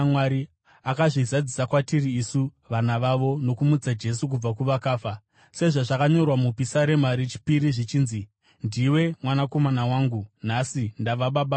akazvizadzisa kwatiri isu, vana vavo, nokumutsa Jesu kubva kuvakafa. Sezvazvakanyorwa muPisarema rechipiri zvichinzi: “ ‘Ndiwe Mwanakomana wangu; nhasi ndava baba vako.’